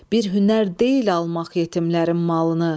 Bir hünər deyil almaq yetimlərin malını.